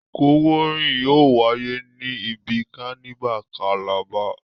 Ìkọ́wọ̀ọ́ rìn yóò wáyé ní ibi kánívà kalabá.